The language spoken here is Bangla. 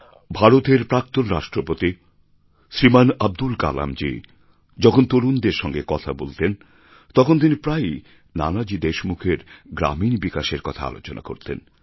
ভারতের প্রাক্তন রাষ্ট্রপতি শ্রীমান আব্দুল কালামজী যখন তরুণদের সঙ্গে কথা বলতেন তখন তিনি প্রায়ই নানাজী দেশমুখের গ্রামীণ বিকাশের কথা আলোচনা করতেন